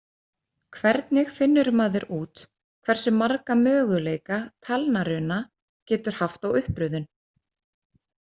Hvernig finnur maður út hversu marga möguleika talnaruna getur haft á uppröðun?